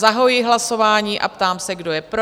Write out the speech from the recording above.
Zahajuji hlasování a ptám se, kdo je pro?